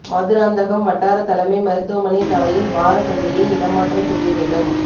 மதுராந்தகம் வட்டார தலைமை மருத்துவமனை சாலையில் வார சந்தையை இடமாற்றம் செய்ய வேண்டும்